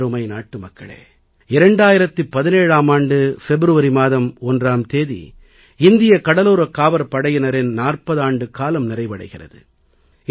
எனதருமை நாட்டுமக்களே 2017ஆம் ஆண்டு பிப்ரவரி மாதம் 1ஆம் தேதி இந்திய கடலோரக் காவற் படையினரின் 40 ஆண்டுக்காலம் நிறைவடைகிறது